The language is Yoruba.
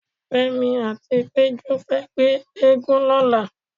Fẹ́mi àti Péjú fẹ́ gbé eégún lọ́la.